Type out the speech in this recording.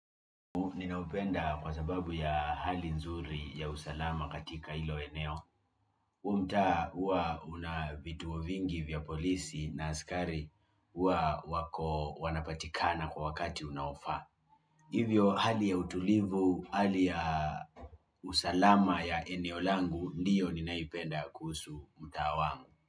Ninaupenda kwa sababu ya hali nzuri ya usalama katika ilo eneo huu mtaa hua unavituo vingi vya polisi na askari hua wako wanapatikana kwa wakati unaofaa hivyo hali ya utulivu, hali ya usalama ya eneo langu ndio ninayoipenda kuhusu mtaa wangu.